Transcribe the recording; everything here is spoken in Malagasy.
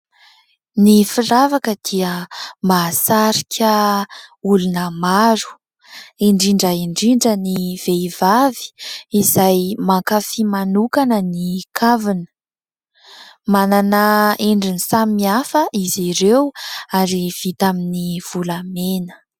Ny firavaka dia mahasarika olona maro, indrindra indrindra ny vehivavy izay mankafy manokana ny kavina. Manana endrika maro izy ireo ary vita amin'ny volamena.